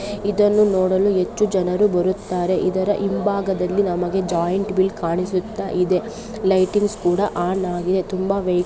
ಇದನ್ನು ನೋಡಲು ಹೆಚ್ಚು ಜನರು ಬರುತ್ತಾರೆ ಇದರ ಹಿಂಭಾಗದಲ್ಲಿ ನಮಗೆ ಜೈಂಟ್ ವೀಲ್ ಕಾಣಿಸುತ್ತಾ ಇದೆ ಲೈಟಿಂಗ್ಸ್ ಕೂಡ ಆನ್ ಆಗಿದೆ. ತುಂಬ--